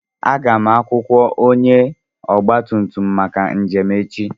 Aga m akwụkwọ onye ọgba tum tum maka njem echi.